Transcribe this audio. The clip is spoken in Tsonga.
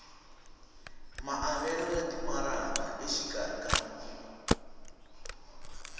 maavelo ya timaraka exikarhi ka